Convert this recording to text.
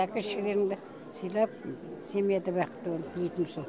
әке шешелеріңді сыйлап семьяда бақытты бол тілейтінім сол